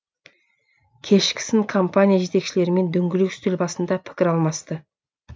кешкісін компания жетекшілерімен дөңгелек үстел басында пікір алмасты